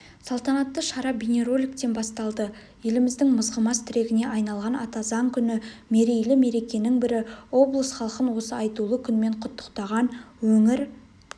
салтанатты шара бейнероликтен басталды еліміздің мызғымас тірегіне айналған ата заң күні мерейлі мерекенің бірі облыс халқын осы айтулы күнмен құттықтаған өңір